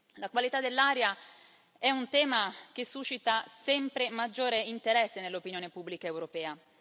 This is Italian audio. La qualità dell'aria è un tema che suscita sempre maggiore interesse nell'opinione pubblica europea.